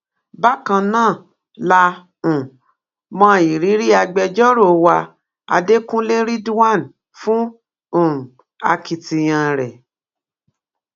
bákan náà la um mọ rírì agbẹjọrò wa adẹkùnlé ridwan fún um akitiyan rẹ